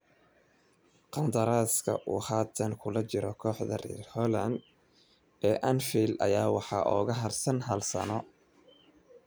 Qandaraaska uu haatan kula jiro kooxda reer Holland ee Anfield ayaa waxaa uga harsan hal sano.